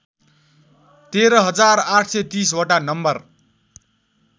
१३ हजार ८३० वटा नम्बर